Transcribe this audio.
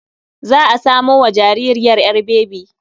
Za a samo wa jaririyar ƴar bebi.